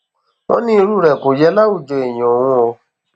wọn ní irú rẹ kò yẹ láwùjọ èèyàn òun o